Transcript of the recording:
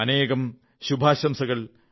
അനേകം ശുഭാശംസകൾ